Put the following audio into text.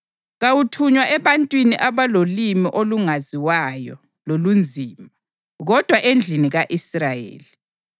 Kawuthunywa ebantwini abalolimi olungaziwayo lolunzima, kodwa endlini ka-Israyeli,